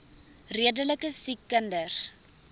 redelike siek kinders